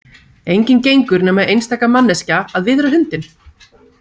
Enginn gengur nema einstaka manneskja að viðra hundinn.